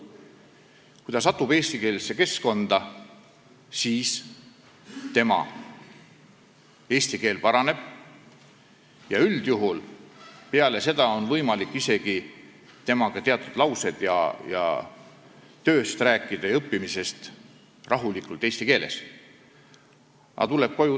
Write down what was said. Kui ta satub eestikeelsesse keskkonda, siis tema eesti keel paraneb, üldjuhul on peale seda võimalik temaga isegi teatud lauseid tööst ja õppimisest rahulikult eesti keeles vahetada.